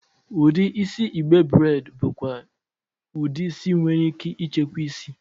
Udi isi igbe braidi bụkwa udi isi nwere ike ịchekwa isi.